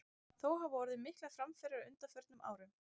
Þó hafa orðið miklar framfarir á undanförnum árum.